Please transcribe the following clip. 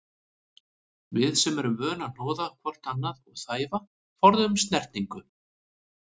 Við sem erum vön að hnoða hvort annað og þæfa, forðumst snertingu.